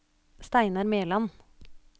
Steinar Mæland